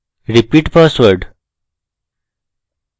repeat password